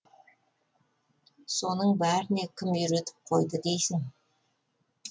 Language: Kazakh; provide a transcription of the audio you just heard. соның бәріне кім үйретіп қойды дейсің